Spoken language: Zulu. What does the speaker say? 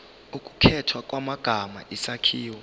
ukukhethwa kwamagama isakhiwo